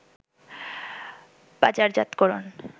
বাজারজাতকরণ